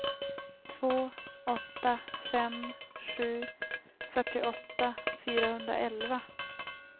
två åtta fem sju fyrtioåtta fyrahundraelva